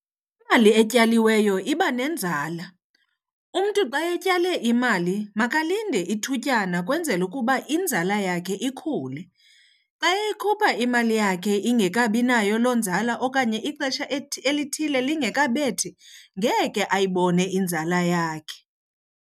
Imali etyaliweyo iba nenzala. Umntu xa utyale imali makalinde ithutyana ukwenzela ukuba inzala yakhe ikhule. Xa eyikhupha imali yakhe ingekabinayo loo nzala okanye ixesha elithile lingekabethi ngeke ayibone inzala yakhe.